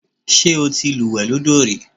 Ṣé o ti lúùwẹ́ lọ́dọ̀ rí?